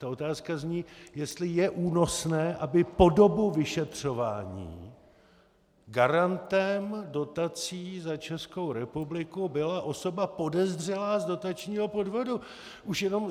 Ta otázka zní, jestli je únosné, aby po dobu vyšetřování garantem dotací za Českou republiku byla osoba podezřelá z dotačního podvodu.